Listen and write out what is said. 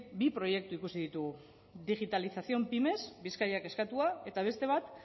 bi proiektu ikusi ditugu digitalización pymes bizkaiak eskatua eta beste bat